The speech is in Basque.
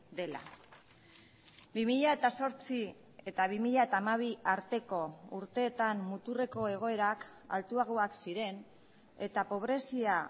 dela bi mila zortzi eta bi mila hamabi arteko urteetan muturreko egoerak altuagoak ziren eta pobrezia